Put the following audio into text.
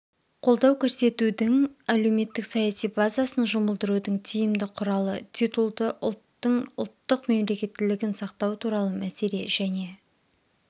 қолдау көрсетудің әлеуметтік саяси базасын жұмылдырудың тиімді құралы титулды ұлттың ұлттық мемлекеттілігін сақтау туралы мәселе және